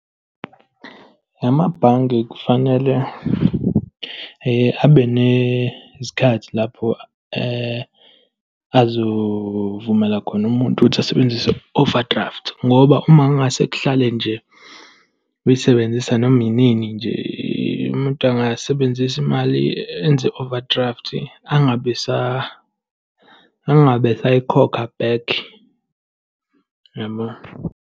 Amabhange kufanele abe nesikhathi lapho azovumelana khona umuntu ukuthi asebenzise i-overdraft. Ngoba uma kungase kuhlale nje, uyisebenzisa noma inini nje, umuntu angasebenzisa imali, enze i-overdraft, angabe angabe esayikhokha back, yabo.